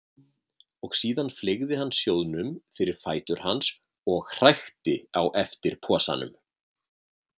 Síðan fleygði hann sjóðnum fyrir fætur hans og hrækti á eftir posanum.